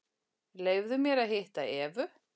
Leyfðu mér að hitta Evu.